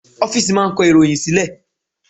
Ọ́fìsì máà ń kọ ìròhìn sílẹ̀.